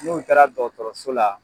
N'u taara dɔgɔtɔrɔso la